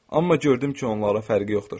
Amma gördüm ki, onlara fərqi yoxdur.